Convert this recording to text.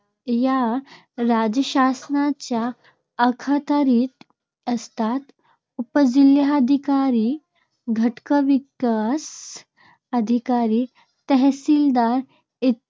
या राज्यशासनाच्या अखत्यारीत असतात. उपजिल्हाधिकारी, गटविकास अधिकारी, तहसीलदार